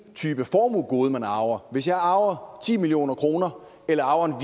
type formuegode man arver hvis jeg arver ti million kroner eller arver